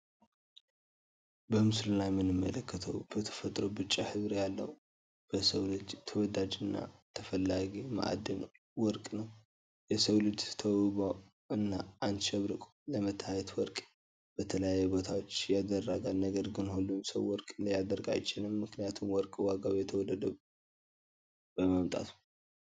በምስሉ ላይ የምንመለከተው በተፈጥሮው ቢጫ ሕብር ያለው በሰው ልጅ ተወዳጅ አና ተፈላጊ መኣድን ወርቅ ነው። የሰውልጅ ተውቦ እና አሸብርቆ ለመታየት ወርቅ በተለያዩ ቦታወችን ያደረጋል። ነገርግን ሁሉም ሰው ወርቅ ሊያደርግ ኣይችልም ምክንያቱም ወርቅ ዋጋው እየተወደደ በመምጣቱ።